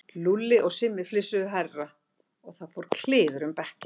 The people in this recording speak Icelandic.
Lúlli og Simmi flissuðu hærra og það fór kliður um bekkinn.